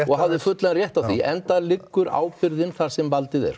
og hafði fullan rétt á því enda liggur ábyrgðin þar sem valdið er